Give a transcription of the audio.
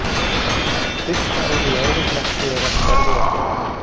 Fyrsta árið í öðrum flokki er oft erfiðasti aldurinn.